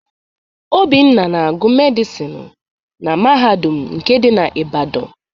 Obinna na-agụ medịsinu na mahadum nke dị na Ibadan.